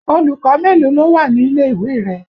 Olùkọ́ mélòó ló wà nílé ìwé rẹ?